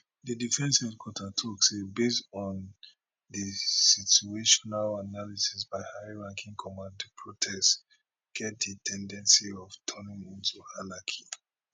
di defence headquarter tok say based on di situational analysis by high ranking command di protest get di ten dency of turning into anarchy